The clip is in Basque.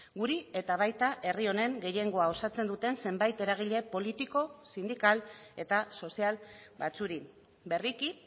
guri eta baita herri honen gehiengoa osatzen duten zenbait eragile politiko sindikal eta sozial batzuei berriki